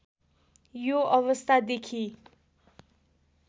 यो अवस्था देखी